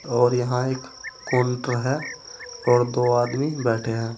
और यहां एक काउंटर है और दो आदमी बैठे हैं।